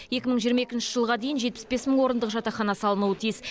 екі мың жиырма екінші жылға дейін жетпіс бес мың орындық жатақхана салынуы тиіс